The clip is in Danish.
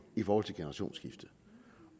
i forhold til generationsskifte